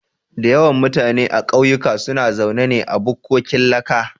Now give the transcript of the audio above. Da yawan mutane a kauyuka suna zaune ne a bukkokin laka